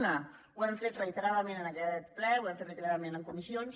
una ho hem reiteradament en aquest ple ho hem fet reiteradament en comissions